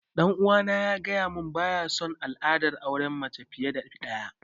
Ɗan uwana ya gaya mun baya sun al'adar auren mace fiye da ɗaya